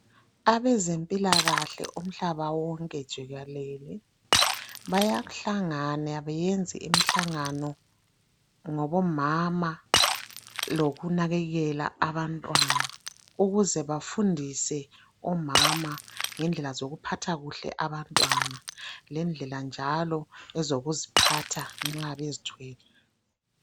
Abezempilakahle umhlaba wonke jikelele bayahlangana beyenze imihlangano ngabomama lokunanakekela abantwana ukuze bafundise omama ngendlela zokuphatha kuhle abantwana lendlela njalo ezokuziphatha nxa bezithwele.